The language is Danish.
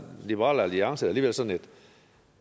liberal alliance alligevel sådan